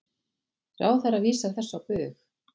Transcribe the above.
Ráðherra vísar þessu á bug.